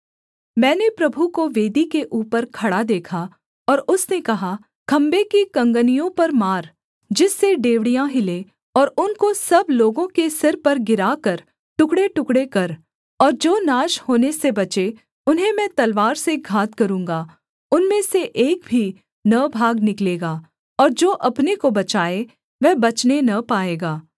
मैंने प्रभु को वेदी के ऊपर खड़ा देखा और उसने कहा खम्भे की कँगनियों पर मार जिससे डेवढ़ियाँ हिलें और उनको सब लोगों के सिर पर गिराकर टुकड़ेटुकड़े कर और जो नाश होने से बचें उन्हें मैं तलवार से घात करूँगा उनमें से एक भी न भाग निकलेगा और जो अपने को बचाए वह बचने न पाएगा